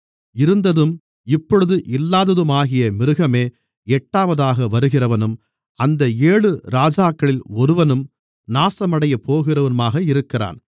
இருந்ததும் இப்பொழுது இல்லாததுமாகிய மிருகமே எட்டாவதாக வருகிறவனும் அந்த ஏழு இராஜாக்களில் ஒருவனும் நாசமடையப்போகிறவனுமாக இருக்கிறான்